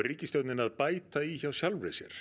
ríkisstjórnin að bæta í hjá sjálfum sér